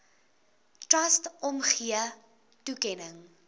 trust omgee toekenning